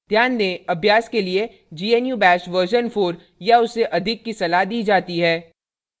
ध्यान दें अभ्यास के लिए gnu bash version 4 या उससे अधिक की सलाह दी जाती है